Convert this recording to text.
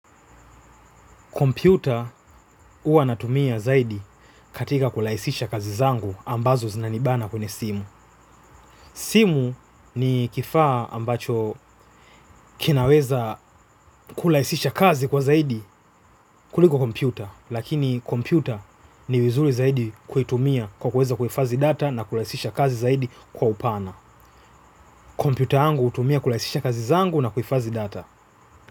Kompyuta huwa natumia zaidi katika kurahisisha kazi zangu ambazo zinanibana kwenye simu. Simu ni kifaa ambacho kinaweza kurahisisha kazi kwa zaidi kuliko kompyuta. Lakini kompyuta ni vizuri zaidi kuitumia kwa kuweza kufadhi data na kurahisisha kazi zaidi kwa upana. Kompiuta angu utumia kulaisisha kazi zangu na kufazi data.